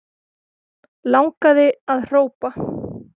Langaði að hrópa